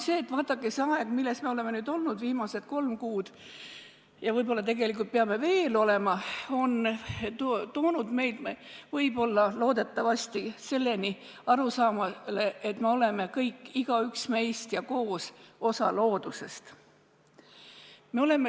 Vaadake, see aeg, milles me oleme elanud viimased kolm kuud ja võib-olla peame veel elama, on toonud meid loodetavasti arusaamale, et me oleme kõik, igaüks meist on ja me oleme ka koos osa loodusest.